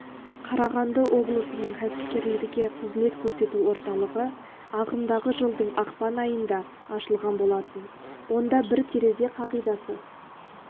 қарағанды облысының кәсіпкерлерге қызмет көрсету орталығы ағымдағы жылдың ақпан айында ашылған болатын онда бір терезе қағидасы